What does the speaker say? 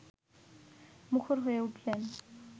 মুখর হয়ে উঠলেন